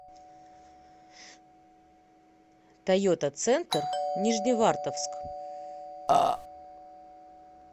тойота центр нижневартовск